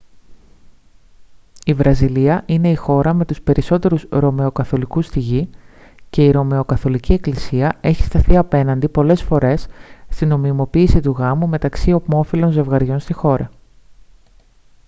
η βραζιλία είναι η χώρα με τους περισσότερους ρωμαιοκαθολικούς στη γη και η ρωμαιοκαθολική εκκλησία έχει σταθεί απέναντι πολλές φορές στη νομιμοποίηση του γάμου μεταξύ ομόφυλων ζευγαριών στη χώρα